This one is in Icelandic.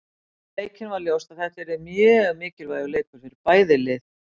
Fyrir leikinn var ljóst að þetta yrði mjög mikilvægur leikur fyrir bæði lið.